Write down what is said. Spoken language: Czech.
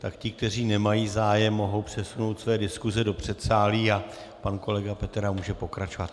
Tak ti, kteří nemají zájem, mohou přesunout své diskuse do předsálí a pan kolega Petera může pokračovat.